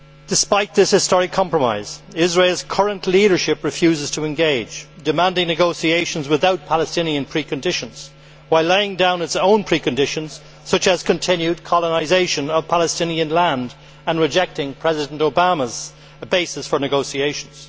Despite this historic compromise, Israel's current leadership refuses to engage, demanding negotiations without Palestinian preconditions, while laying down its own preconditions, such as continued colonisation of Palestinian land, and rejecting President Obama's basis for negotiations.